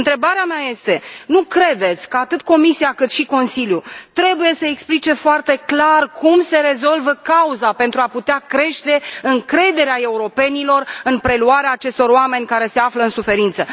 Întrebarea mea este nu credeți că atât Comisia, cât și Consiliul trebuie să explice foarte clar cum se rezolvă cauza, pentru a putea crește încrederea europenilor în preluarea acestor oameni care se află în suferință?